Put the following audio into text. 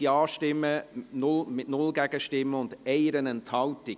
Sie haben den Bericht zur Kenntnis genommen, mit 137 Ja-, 0 Gegenstimmen und 1 Enthaltung.